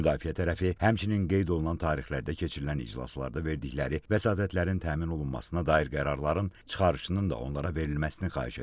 Müdafiə tərəfi həmçinin qeyd olunan tarixlərdə keçirilən iclaslarda verdikləri vəsatətlərin təmin olunmasına dair qərarların çıxarışının da onlara verilməsini xahiş etdi.